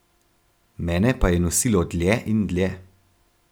Mene pa je nosilo dlje in dlje.